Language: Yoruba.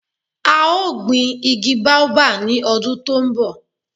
A o gbin igi baobab ni odun to nbo